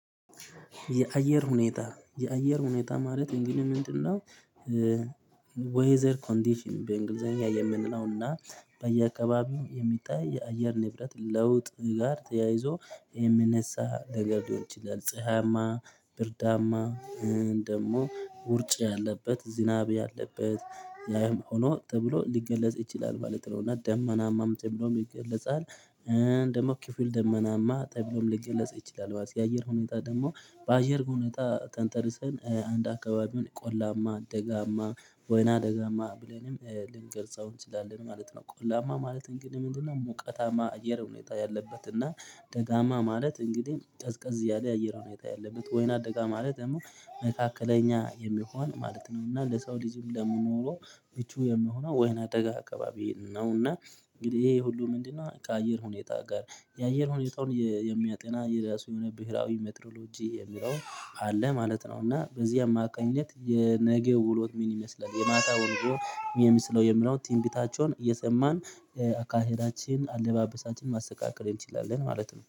የአየር ሁኔታ የአየር ሁኔታ ማለት እንግዲህ ምንድነው? ወይዘር ኮንዲሽን በእንግሊዘኛ የምንለውና በየአካባቢው የሚጣይ የአየር ንብረት ለውጥ ጋር ተያይዞ የሚነሳ ለገድዮች ይላል ፀሀያማ ብርዳማ ደግሞ ውርጭ ያለበት ዝናብ ያለበት ያም ሆኖ ተብሎ ሊገለጽ ይችላል ማለት ነው እና ደመናማም ተብሎ ይገለጻል። ደግሞ ኪፉል ደመናማ ተብሎም ሊገለጽ ይችላል የአየር ሁኔታ ደግሞ በአየር ሁኔታ ተንተርሰን አንድ አካባቢውን ቆላማ ደጋማ ወይና ደጋማ ብለንም ልንገርጸው እንችላለን ማለት ነው። ቆላማ ማለት እንግዲህ ምንድነው? ሙቀታማ አየር ሁኔታ ያለበት እና ደጋማ ማለት እንግዲህ ቀዝቀዝ እያለ የአየር ሁኔታ ያለበት ወይና ደጋ ማለት ደግሞ መካከለኛ የሚሆን ማለት ነው። እና ለሰው ልጅም ለመኖሩ ብቹ የምሆነው ወይና ደጋ አካባቢ ነው። እና እንግዲህ ይሄ ሁሉ ምንድነው? ከአየር ሁኔታ ጋር የአየር ሁኔታውን የሚያጠና የራሱ የሆነ ብሄራዊ ሜትሮሎጂ የሚለው አለ ማለት ነው። እና በዚህ አማካኝነት የነገው ውሎት ምን ይመስላል የማታ ወንድሮ የሚመስለው የምለውን ትንቢታቸውን እየሰማን አካሄዳችን አለባበሳችንን ማስተካከል እንችላለን ማለት ነው